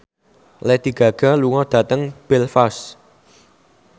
Lady Gaga lunga dhateng Belfast